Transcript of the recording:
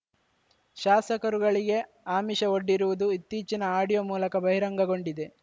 ಶಾಸಕರುಗಳಿಗೆ ಆಮಿಷ ಒಡ್ಡಿರುವುದು ಇತ್ತೀಚಿನ ಆಡಿಯೋ ಮೂಲಕ ಬಹಿರಂಗಗೊಂಡಿದೆ